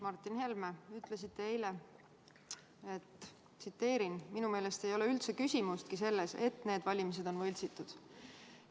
Martin Helme, ütlesite eile: "Minu meelest ei ole üldse küsimustki selles, et need valimised on võltsitud.